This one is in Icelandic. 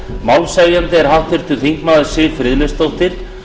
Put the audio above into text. málshefjandi er háttvirtur þingmaður siv friðleifsdóttir